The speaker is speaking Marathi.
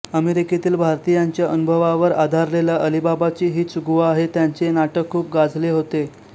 अमेरिकेतील भारतीयांच्या अनुभवावर आधारलेलं अलिबाबाची हीच गुहा हे त्यांचे नाटक खूप गाजले होते